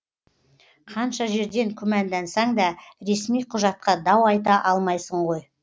қанша жерден күмәндансаң да ресми құжатқа дау айта алмайсың ғой